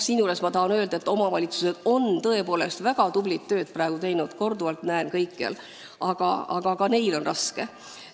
Ma tahan öelda, et omavalitsused on tõepoolest väga tublit tööd teinud, ma korduvalt näen seda kõikjal, aga ka neil on raske.